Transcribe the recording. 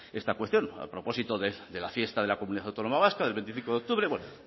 esta cuestión a propósito de la fiesta de la comunidad autónoma vasca del veinticinco de octubre bueno